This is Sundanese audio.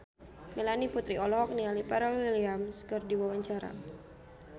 Melanie Putri olohok ningali Pharrell Williams keur diwawancara